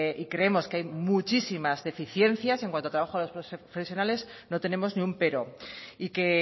y creemos que hay muchísimas deficiencias en cuanto al trabajo de los profesionales no tenemos ningún pero y que